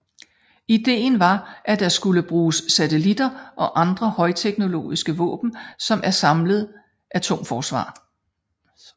Ideen var at der skulle bruges satellitter og andre højteknologiske våben som et samlet atomforsvar